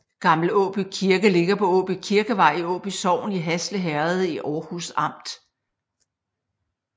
Gammel Åby Kirke ligger på Åby Kirkevej i Åby sogn i Hasle Herred i Århus Amt